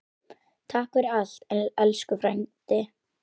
Takk fyrir allt, elsku frændi.